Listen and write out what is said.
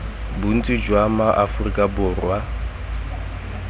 bontsi jwa ma aforika borwa